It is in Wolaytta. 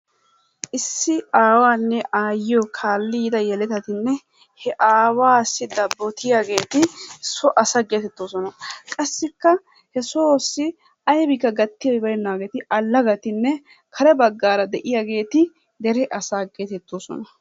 Issi aawanne aayyiyo kaalli yiida yeletatinne he aawaassi dabbotiyaageeti so asa geetettoosona, Qassikka he soossi aybikka gattiyay baynnaageeti allagatinne kare baggaara de'iyaageeti dere asa geetettoosona.